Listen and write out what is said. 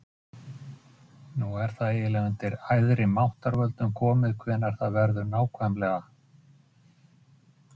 Hann fær til dæmis ekki að taka mikilvægar ákvarðanir um stjórnun heimilisins.